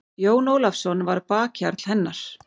Jón Ólafsson var bakhjarl hennar.